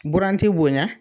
Buran ti bonɲa